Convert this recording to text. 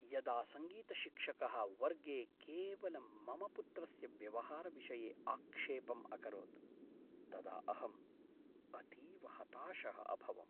यदा सङ्गीतशिक्षकः वर्गे केवलं मम पुत्रस्य व्यवहारविषये आक्षेपम् अकरोत् तदा अहम् अतीव हताशः अभवम्।